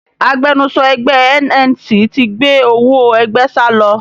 Agbẹnusọ ẹgbẹ́e NNC ti gbé owó ẹgbẹ́ salọ